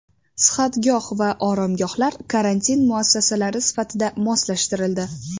Sihatgoh va oromgohlar karantin muassasalari sifatida moslashtirildi.